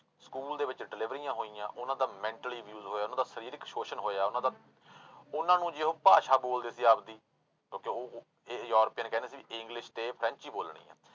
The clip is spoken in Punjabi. ਸਕੂਲ ਦੇ ਵਿੱਚ ਡਿਲੀਵਰੀਆਂ ਹੋਈਆਂ ਉਹਨਾਂ ਦਾ mentally use ਹੋਇਆ ਉਹਨਾਂ ਦਾ ਸਰੀਰਕ ਸ਼ੋਸ਼ਣ ਹੋਇਆ, ਉਹਨਾਂ ਦਾ ਉਹਨਾਂ ਨੂੰ ਜੇ ਉਹ ਭਾਸ਼ਾ ਬੋਲਦੇ ਸੀ ਆਪਦੀ ਕਿਉਂਕਿ ਉਹ ਇਹ ਯੂਰਪੀਅਨ ਕਹਿੰਦੇ ਸੀ english ਤੇ french ਹੀ ਬੋਲਣੀ ਆਂ।